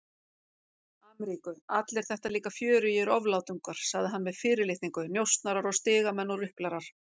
Ameríku, allir þetta líka fjörugir oflátungar, sagði hann með fyrirlitningu, njósnarar og stigamenn og ruplarar.